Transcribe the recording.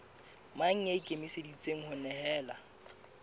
mang ya ikemiseditseng ho nehelana